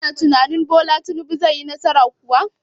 Kana tunanin Bola Tinubu zai yi nasara kuwa?